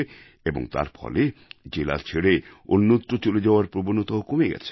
এর ফলে জেলা ছেড়ে অন্যত্র চলে যাওয়ার প্রবণতাও কমে আসছে